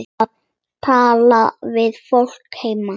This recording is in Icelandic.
Að tala við fólkið heima.